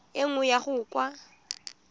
e nngwe go ya kwa